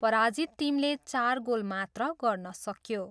पराजित टिमले चार गोल मात्र गर्न सक्यो।